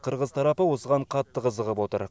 қырғыз тарапы осыған қатты қызығып отыр